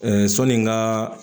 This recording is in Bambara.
sɔni n ka